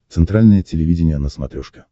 центральное телевидение на смотрешке